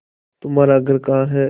तुम्हारा घर कहाँ है